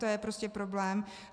To je prostě problém.